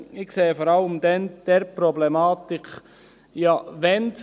Ich sehe die Problematik vor allem dort: